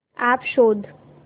app शोध